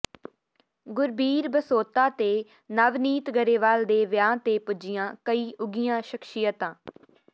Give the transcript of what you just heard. ਗੁਰਬੀਰ ਬਸੋਤਾ ਤੇ ਨਵਨੀਤ ਗਰੇਵਾਲ ਦੇ ਵਿਆਹ ਤੇ ਪੁੱਜੀਆਂ ਕਈ ਉਘੀਆਂ ਸ਼ਖਸੀਅਤਾਂ